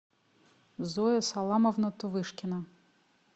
зоя саламовна тувышкина